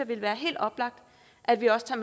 ville være helt oplagt at vi også tager